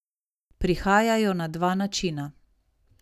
Prihajajo na dva načina.